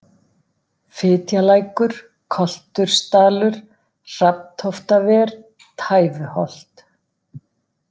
Fitjalækur, Koltursdalur, Hrafntóftaver, Tæfuholt